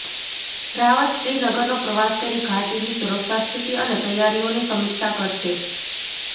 રાવત શ્રીનગરનો પ્રવાસ કરી ઘાટીની સુરક્ષા સ્થિતિ અને તૈયારીઓની સમીક્ષા કરશે